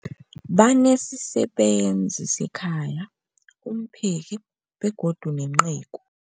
Banesisebenzi sekhaya, umpheki, begodu nenceku.